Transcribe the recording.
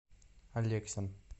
алексин